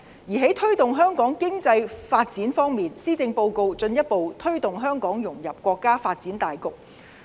而在推動香港經濟發展方面，施政報告進一步推動香港融入國家發展大局。